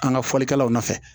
An ka fɔlikɛlaw nɔfɛ